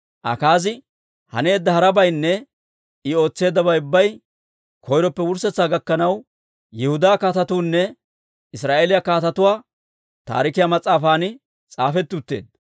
Akaazi haneedda harabaynne I ootseeddabay ubbay koyroppe wurssetsaa gakkanaw Yihudaa Kaatetuunne Israa'eeliyaa Kaatetuwaa Taarikiyaa mas'aafan s'aafetti utteedda.